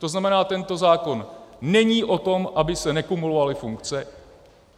To znamená, tento zákon není o tom, aby se nekumulovaly funkce.